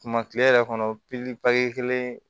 Tuma kile yɛrɛ kɔnɔ pikiri paki kelen